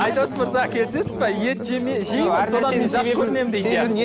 айдос мырза келісесіз бе ет